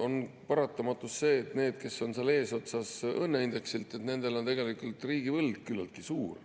on paratamatus see, et nendel, kes on eesotsas õnneindeksi poolest, on riigivõlg tegelikult küllaltki suur.